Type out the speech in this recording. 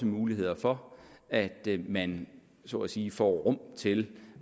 mulighed for at man så at sige får rum til